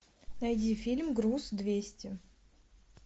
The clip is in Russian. найди фильм груз двести